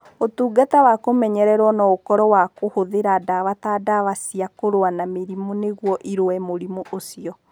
ũtungata wa kũmenyererũo no ũkorũo wa kũhũthĩra ndawa ta ndawa cia kũrũa na mĩrimũ nĩguo irũe mũrimũ ũcio.